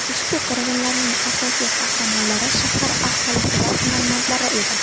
Ushbu qirg‘inlarning asosiy qahramonlari shahar aholisi va hunarmandlar edi.